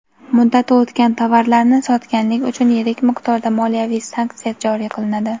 Muddati o‘tgan tovarlarni sotganlik uchun yirik miqdorda moliyaviy sanksiya joriy qilinadi.